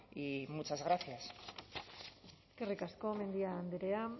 y muchas gracias eskerrik asko mendia andrea